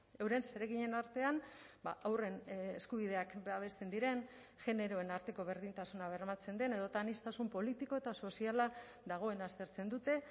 euren zereginen artean haurren eskubideak babesten diren generoen arteko berdintasuna bermatzen den edota aniztasun politiko eta soziala dagoen aztertzen dute